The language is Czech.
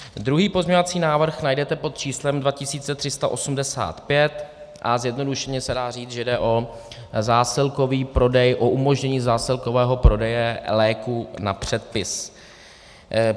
Druhý pozměňovací návrh najdete pod číslem 2385 a zjednodušeně se dá říct, že jde o zásilkový prodej, o umožnění zásilkového prodeje léků na předpis.